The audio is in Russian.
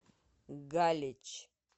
галич